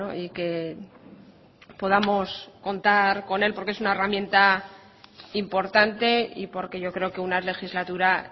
y que podamos contar con él porque es una herramienta importante y porque yo creo que una legislatura